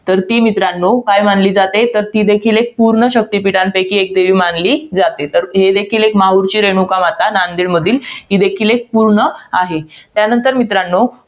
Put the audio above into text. तर ती मित्रांनो, काय मानली जाते? तर ती देखील एक पूर्ण शक्तीपीठांपैकी एक देवी मानली जाते. तर हे देखील, माहुरची रेणुकामाता नांदेडमधील, ही देखील एक पूर्ण आहे. त्यानंतर मित्रांनो